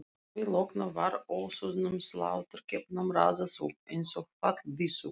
Að því loknu var ósoðnum sláturkeppunum raðað upp einsog fallbyssukúlum.